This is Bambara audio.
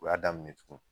U y'a daminɛ tugun